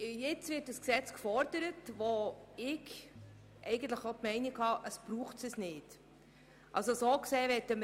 Nun wird ein Gesetz gefordert, das meines Erachtens nicht gebraucht wird.